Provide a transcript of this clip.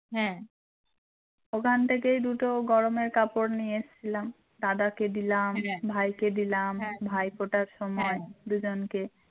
হ্যাঁ ওখান থেকে দুটো গরমের কাপড় নিয়ে এসেছিলাম দাদাকে দিলাম ভাইকে দিলাম ভাইফোঁটার সময় দুজনকে